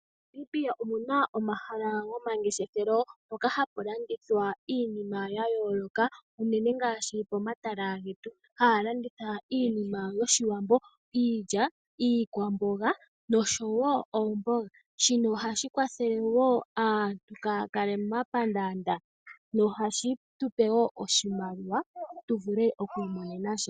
MoNamibia omuna omahala gomangeshefelo mpoka hapu landithwa iinima ya yooloka, unene ngaashi pomatala getu, haya landitha iinima yoshiwambo, iilya, iikwamboga noshowo oomboga, shino ohashi kwathele wo aantu kaaya kale momapandaanda nohashi tu pe wo oshimaliwa tu vule oku imonena sha.